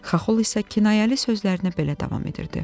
Xaxol isə kinayəli sözlərinə belə davam edirdi: